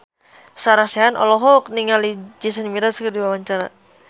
Sarah Sechan olohok ningali Jason Mraz keur diwawancara